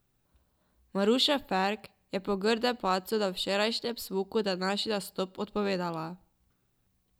Maruša Ferk je po grdem padcu na včerajšnjem smuku današnji nastop odpovedala.